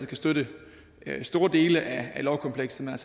kan støtte store dele af lovkomplekset men